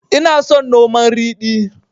Ina son noman ridi